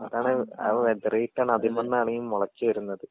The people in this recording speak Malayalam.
അതാണ് അത് വേതറീട്ടാണ് അതിമ്മന്നാണീ മൊളച്ച് വെരുന്നത്.